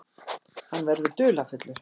Hann verður dularfullur.